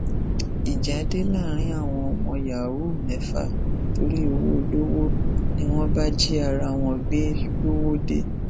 ìjà dé láàrin àwọn ọmọ yahoo mẹfà torí owó olówó ni wọn bá jí ara wọn gbé lọwọde